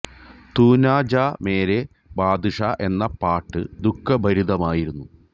തു നാ ജാ മേരേ ബാദ്ഷാ എന്ന പാട്ട് ദുഃഖഭരിതമായിരുന്നു